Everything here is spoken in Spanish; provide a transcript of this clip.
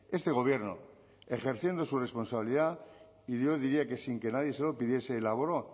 este gobierno ejerciendo su responsabilidad y yo diría que sin que nadie se lo pidiese elaboró